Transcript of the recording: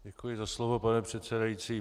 Děkuji za slovo, pane předsedající.